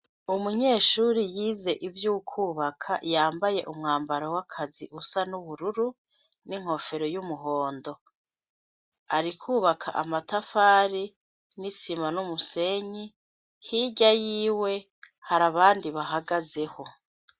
Umunyeshure yize ivyo kubaka yambaye umwambaro usa n'ubururu n'inkofero y'umuhondo. Ari kubaka amatafari, n'isima n'umusenyi; hirya yiwe hari abandi bahagazeho.